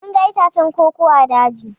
Mun ga itacen koko ã daji.